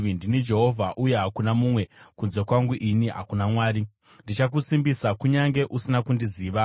Ndini Jehovha, uye hakuna mumwe; kunze kwangu ini hakuna Mwari. Ndichakusimbisa, kunyange usina kundiziva,